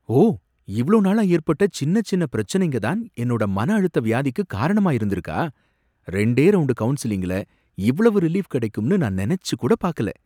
ஓ! இவ்ளோ நாளா ஏற்பட்ட சின்ன, சின்ன பிரச்சனைங்க தான் என்னோட மனஅழுத்த வியாதிக்குக் காரணமா இருந்திருக்கா! ரெண்டே ரவுண்டு கவுன்சிலிங்ல இவ்வளவு ரிலீஃப் கிடைக்கும்னு நான் நெனச்சு கூட பாக்கல.